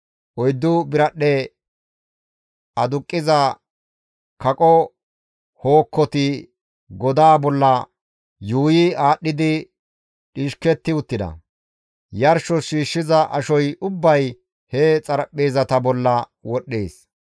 Oyddu biradhdhe aduqqiza kaqo hookkoti godaza bolla yuuyi aadhdhidi dhishketti uttida. Yarshos shiishshiza ashoy ubbay he xaraphpheezata bolla wodhdhees.